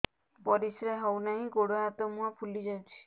ପରିସ୍ରା ହଉ ନାହିଁ ଗୋଡ଼ ହାତ ମୁହଁ ଫୁଲି ଯାଉଛି